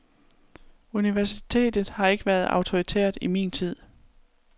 Universitetet har ikke været autoritært i min tid.